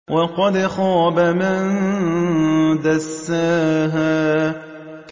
وَقَدْ خَابَ مَن دَسَّاهَا